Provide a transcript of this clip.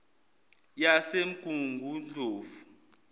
yasemgungundlovu